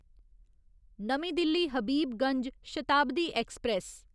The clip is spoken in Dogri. नमीं दिल्ली हबीबगंज शताब्दी ऐक्सप्रैस